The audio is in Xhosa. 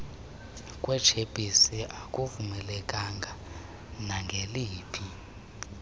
kwetshephisi akuvumelekanga nangeliphi